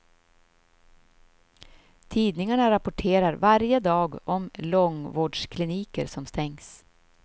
Tidningarna rapporterar varje dag om långvårdskliniker som stängs.